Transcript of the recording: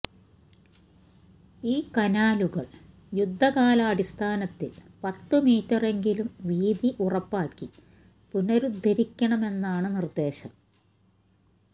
ഈ കനാലുകൾ യുദ്ധകാലാടിസ്ഥാനത്തിൽ പത്ത്മീറ്ററെങ്കിലും വീതി ഉറപ്പാക്കി പുനരുദ്ധരിക്കണമെന്നാണ് നിർദേശം